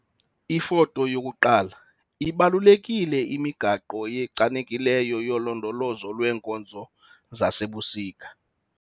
Ifoto 1- Ibalulekile imigaqo echanekileyo yolondolozo lweenkozo zasebusika.